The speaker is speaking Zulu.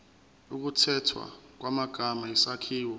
ukukhethwa kwamagama isakhiwo